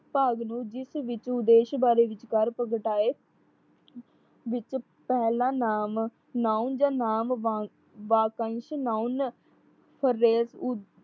ਭਾਗ ਨੂੰ ਜਿਸ ਵਿੱਚ ਉਦੇਸ਼ ਬਾਰੇ ਵਿਚਕਾਰ ਪ੍ਰਗਟਾਏ ਵਿੱਚ ਪਹਿਲਾ ਨਾਮ noun ਜਾਂ ਨਾਮ ਵਾ ਵਾਕਅੰਸ਼ noun